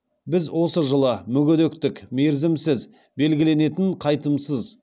біз осы жылы мүгедектік мерзімсіз белгіленетін қайтымсыз